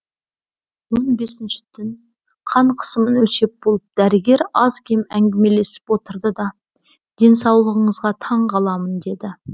он бесінші түн қан қысымын өлшеп болып дәрігер аз кем әңгімелесіп отырды да денсаулығыңызға таң қаламын деді